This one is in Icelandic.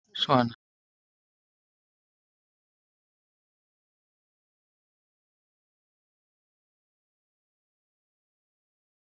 Höskuldur: Árni, hvernig er útlitið fyrir morgundaginn?